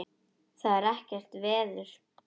Það er ekkert veður.